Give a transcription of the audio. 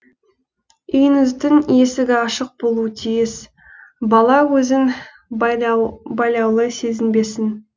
үйіңіздің есігі ашық болу тиіс бала өзін байлаулы сезінбесін